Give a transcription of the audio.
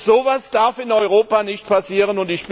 So etwas darf in Europa nicht passieren.